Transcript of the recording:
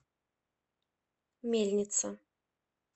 мельница